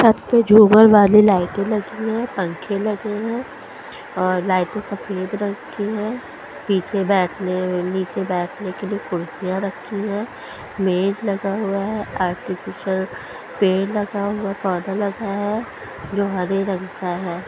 छत पे झूमर वाली लाइटे लगी हुई है पंखे लगे हुए है और लाइटे खरीद रखी है नीचे बैठने नीचे बैठने के लिए कुर्सियां रखी है मेज़ लगा हुआ है आर्टिफीसियल पेड़ लगा हुआ है पौधा लगा हुआ है जो हरे रंग का है।